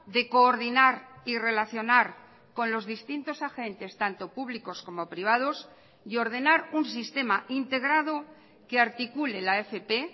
de coordinar y relacionar con los distintos agentes tanto públicos como privados y ordenar un sistema integrado que articule la fp